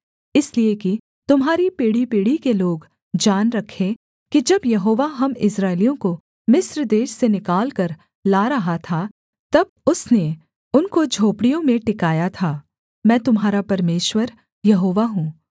इसलिए कि तुम्हारी पीढ़ीपीढ़ी के लोग जान रखें कि जब यहोवा हम इस्राएलियों को मिस्र देश से निकालकर ला रहा था तब उसने उनको झोपड़ियों में टिकाया था मैं तुम्हारा परमेश्वर यहोवा हूँ